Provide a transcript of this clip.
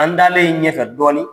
An taalen ɲɛfɛ dɔɔnin